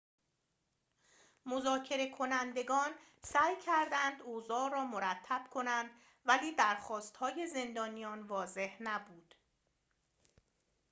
مذاکره‌کنندگان سعی کردند اوضاع را مرتب کنند ولی درخواست‌های زندانیان واضح نبود